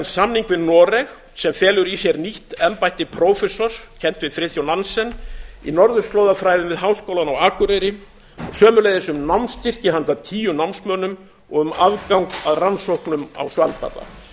samning við noreg sem felur í sér nýtt embætti prófessors kennt við friðþjóf nansen í norðurslóðafræðum við háskólann á akureyri og sömuleiðis um námsstyrki handa tíu námsmönnum og um aðgang að rannsóknum á svalbarða